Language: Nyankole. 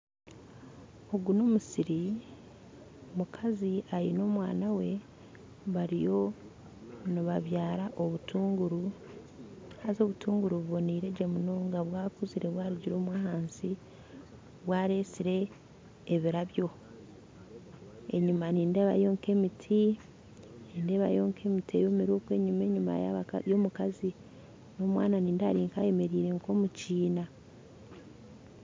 Ogu n'omusiri omukazi aine omwana we bariyo nibabyara obutunguru haza obutunguru buboniire gye munonga bwakuzire bwarugire omwo ahansi bwaresire ebirabyo. Enyuma nindeebayo nk'emiti nindeebayo nk'emiti eyomire okwo enyuma enyuma y'omukazi n'omwana nindeeba ari nk'ayemereire omu kiina